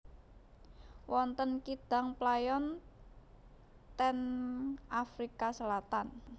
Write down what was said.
Wonten kidang playon ten Afrika Selatan